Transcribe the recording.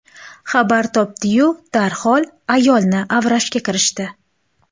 Xabar topdi-yu, darhol ayolni avrashga kirishdi.